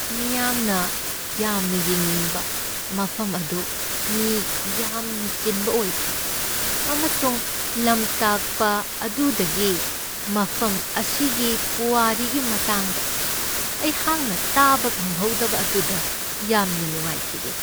ꯃꯤꯌꯥꯝꯅ ꯌꯥꯝꯅ ꯌꯦꯡꯅꯤꯡꯕ ꯃꯐꯝ ꯑꯗꯨ ꯃꯤ ꯌꯥꯝꯅ ꯆꯤꯟꯕ ꯑꯣꯏꯈꯤ, ꯑꯃꯁꯨꯡ ꯂꯝꯇꯥꯛꯄ ꯑꯗꯨꯗꯒꯤ ꯃꯐꯝ ꯑꯁꯤꯒꯤ ꯄꯨꯋꯥꯔꯤꯒꯤ ꯃꯇꯥꯡꯗ ꯑꯩꯍꯥꯛꯅ ꯇꯥꯕ ꯐꯪꯍꯧꯗꯕ ꯑꯗꯨꯗ ꯌꯥꯝꯅ ꯅꯨꯡꯉꯥꯏꯈꯤꯗꯦ ꯫